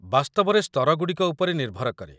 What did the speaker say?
ବାସ୍ତବରେ ସ୍ତରଗୁଡ଼ିକ ଉପରେ ନିର୍ଭର କରେ